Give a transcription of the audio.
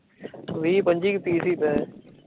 ਵੀ ਪੱਚੀ ਕੂ ਪੀਸ ਈ ਪਏ